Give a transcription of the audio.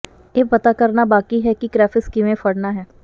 ਇਹ ਪਤਾ ਕਰਨਾ ਬਾਕੀ ਹੈ ਕਿ ਕ੍ਰੈਫਿਸ਼ ਕਿਵੇਂ ਫੜਨਾ ਹੈ